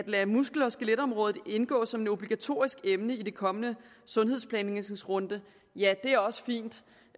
lade muskel og skeletområdet indgå som et obligatorisk emne i den kommende sundhedsplanlægningsrunde også